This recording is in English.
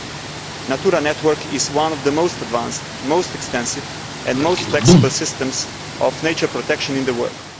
The Natura network is one of the most advanced, most extensive and most flexible systems of nature protection in the world.